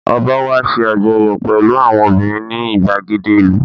Ọ̀ba wá ṣe àjọyọ̀ pẹ̀lú àwọn obìnrin ní ìgbàgede ìlú